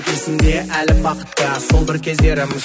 есімді әлі бақытты сол бір кездерім